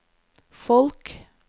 folk